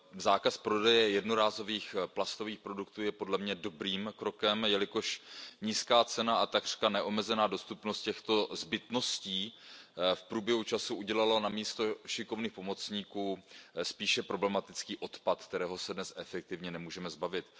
Zákaz prodeje jednorázových plastových produktů je podle mě dobrým krokem, jelikož nízká cena a takřka neomezená dostupnost těchto zbytností v průběhu času udělala namísto šikovných pomocníků spíše problematický odpad, kterého se dnes efektivně nemůžeme zbavit.